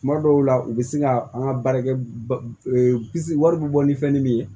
Tuma dɔw la u bɛ se ka an ka baarakɛ wari bɛ bɔ ni fɛn min ye